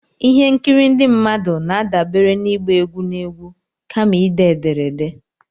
ihe nkiri ndị mmadụ na-adabere na ịgba egwu na egwu, kama ide ederede